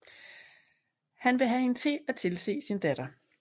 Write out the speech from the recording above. Han vil have hende til at tilse sin datter